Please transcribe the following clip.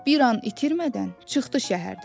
Bir an itirmədən çıxdı şəhərdən.